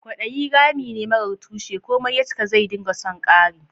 Kwadayi rami ne marar tushe; komai ya cika, zai dinga son kari.